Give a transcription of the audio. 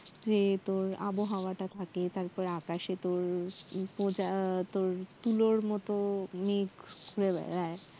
এই তোর আবহাওয়াটা থাকে তারপর আকাশে তোর তোর তুলোর মতো মেঘ ঘুরে বেড়ায়